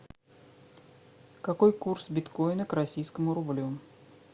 какой курс биткоина к российскому рублю